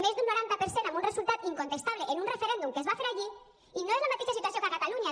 més d’un noranta per cent amb un resultat incontestable en un referèndum que es va fer allí i no és la mateixa situació que a catalunya